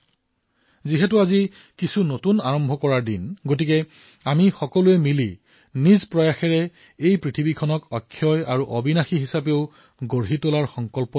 যিহেতু আজি এক নতুন আৰম্ভণিৰ দিন আমি সকলোৱে ঐক্যৱদ্ধভাৱে নিজৰ প্ৰয়াসৰ সৈতে আমাৰ ধৰিত্ৰীক অক্ষয় আৰু অবিশ্বৰ হিচাপে নিৰ্মাণ কৰাৰ সংকল্প লব পাৰো